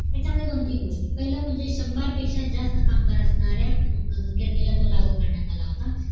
यांच्यामध्ये दोन तीन गोष्टी पाहिलं म्हणजे शंभर पेक्ष्या जास्त कामगार असणाऱ्या गिरणीला तो लागू करण्यात आलेला होता